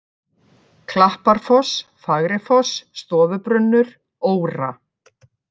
Klapparfoss, Fagrifoss, Stofubrunnur, Óra